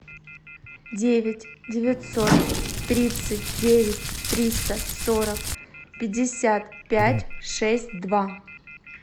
девять девятьсот тридцать девять триста сорок пятьдесят пять шесть два